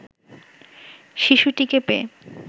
শিশুটিকে পেয়ে